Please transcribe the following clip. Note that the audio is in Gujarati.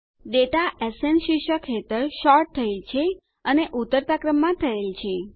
ડેટા એસએન શીર્ષક હેઠળ સોર્ટ થયેલ છે અને ઉતરતા ક્રમમાં થયેલ છે